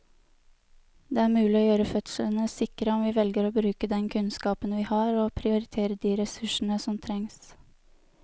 Det er mulig å gjøre fødslene sikre om vi velger å bruke den kunnskapen vi har og prioritere de ressursene som trengs.